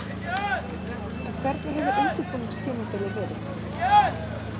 En hvernig hefur undirbúningstímabilið verið?